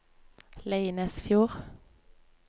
Leinesfjord